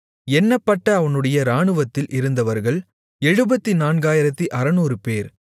எண்ணப்பட்ட அவனுடைய இராணுவத்தில் இருந்தவர்கள் 74600 பேர்